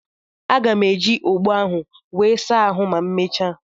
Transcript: Aga m eji ogbo ahụ wee saa ahụ ma emechaa.